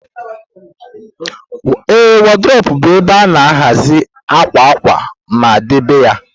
A wardropu bu ebe ana-ahazi akwa akwa ma debe ya.